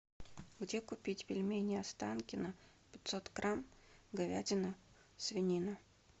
где купить пельмени останкино пятьсот грамм говядина свинина